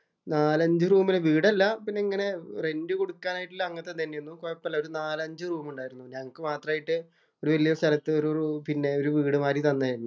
നാലഞ്ച് റൂമിന് വീടല്ല പിന്നെ റെന്‍റ് കൊടുക്കാനായിട്ടു അങ്ങനത്തെ തന്നെ ആയിരുന്നു. കൊഴപ്പമില്ല. ഒരു നാലഞ്ചു റൂം ഉണ്ടാരുന്നു. ഞങ്ങക്ക് മാത്രായിട്ട് ഒരു വല്യ സ്ഥലത്ത് ഒരു വീട് മാതിരി തന്നയായിരുന്നു.